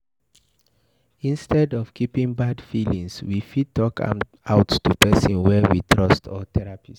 Instead of keeping bad feelings, we fit talk am out to person wey we trust or therapist